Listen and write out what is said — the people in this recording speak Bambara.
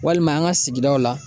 Walima an ka sigidaw la